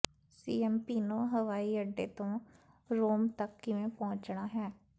Ciampino ਹਵਾਈ ਅੱਡੇ ਤੋਂ ਰੋਮ ਤੱਕ ਕਿਵੇਂ ਪਹੁੰਚਣਾ ਹੈ